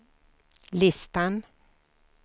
listan